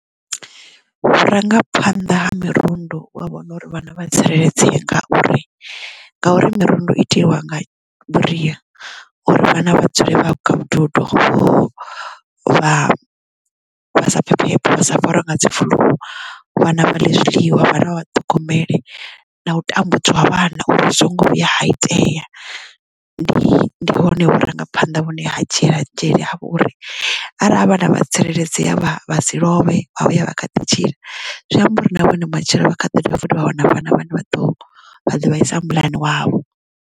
Vhurangaphanḓa ha mirundu wa vhona uri vhana vha tsireledzeye ngauri, ngauri mirundu itiwa nga vhuria uri vhana vha dzule vha kha vhududo vha vhasa pfhe phepho vha sa farwe nga dzifuḽuu vhana vha ḽi zwiḽiwa vhana vha vhaṱhogomele na u tambudziwa vhana uri zwi songo vhuya ha itea ndi ndi hone vhurangaphanḓa vhune ha dzhiela dzhele uri arali havha na vha tsireledzea vha vha si lovhe vha vha ya vha kha ḓi tshila zwi amba uri na vhone matshelo vha kha ḓiḓo vha wana vhana vhane vha ḓo vha ḓo vhaisa muḽani wavho.